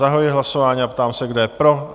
Zahajuji hlasování a ptám se, kdo je pro?